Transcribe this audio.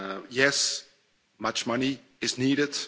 Yes, much money is needed.